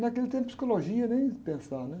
Naquele tempo, psicologia, nem pensar, né?